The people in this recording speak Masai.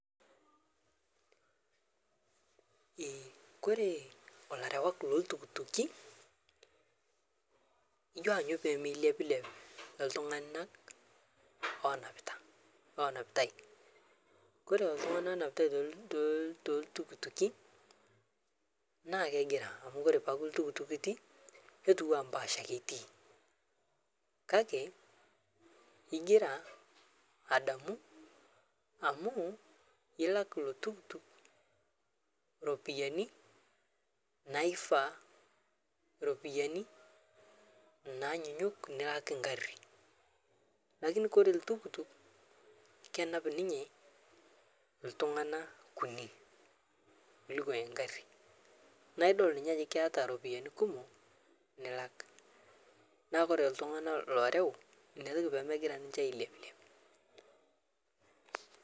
Ore ilarewak loo iltukutuki njanyuu pee miles milepilep itunganak onapitae .Ore itunganak oonapitae to ilntukutuki naa kegiraa amuu oree peyie eekuu ilntukutuk itiii netiuu enee empash ake iti kake igiraa adamuu amuu ilak iloo tukukutuk iropiyianii naifaa nilak engarii lakini oree olntukukutuk kenap ninye ilntunganak kunik alang engarii naa idol ninye ajoo keeta iropiyiani kumok nilak neeku oree ilntunganak looreu ina peyiee milepilep